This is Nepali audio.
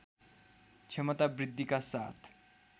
क्षमता वृद्धिका साथ